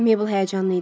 Meybl həyəcanlı idi.